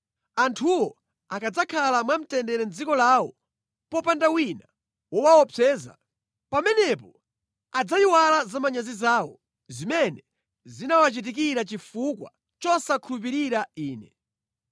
Anthuwo akadzakhala mwamtendere mʼdziko lawo popanda wina wowaopseza, pamenepo adzayiwala zamanyazi zawo zimene zinawachitikira chifukwa chosandikhulupirira Ine.